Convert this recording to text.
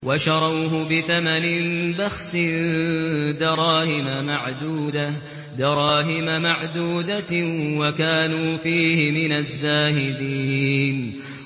وَشَرَوْهُ بِثَمَنٍ بَخْسٍ دَرَاهِمَ مَعْدُودَةٍ وَكَانُوا فِيهِ مِنَ الزَّاهِدِينَ